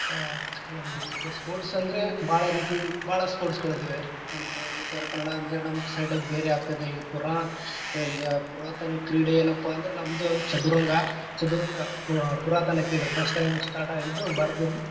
ಆ ಗ ಗಂ sports ಅಂದ್ರೆ ಭಾಳರೀತಿ ಭಾಳ sports ಗಳಿದೆವೆ. ಇಲ್ಲೇ ಉತ್ತರಕನ್ನಡಾ ಅಂದ್ರ ನಮ್ side ಬೇರೆ ಆಗ್ತದೆ ಇ ಪುರಾ ಆ ಈಗ ಪುರಾತನ ಕ್ರೀಡೆ ಏನಪ್ಪಾ ಅಂದ್ರ ನಮ್ದ್‌ ಚದುರಂಗ. ಚದುರಂಗ ಪ~ ಪುರಾತನ ಕ್ರೀಡೆ. first time start ಆಗಿದ್ದು ಭಾರತದಲ್ಲಿ.